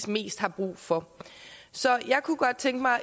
mest har brug for så jeg kunne godt tænke mig at